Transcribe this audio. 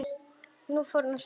Nú á fornar slóðir.